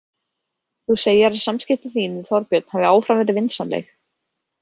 Þú segir að samskipti þín við Þorbjörn hafi áfram verið vinsamleg.